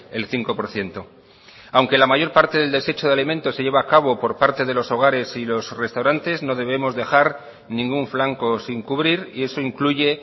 el cinco por ciento aunque la mayor parte del desecho de alimentos se lleva a cabo por parte de los hogares y los restaurantes no debemos dejar ningún flanco sin cubrir y eso incluye